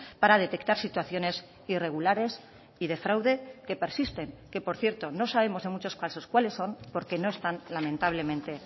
para detectar situaciones irregulares y de fraude que persisten que por cierto no sabemos en muchos casos cuáles son porque no están lamentablemente